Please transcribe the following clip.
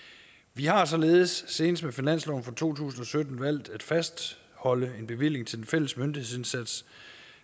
vi har således senest med finansloven for to tusind og sytten valgt at fastholde en bevilling til den fælles myndighedsindsats